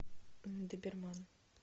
доберман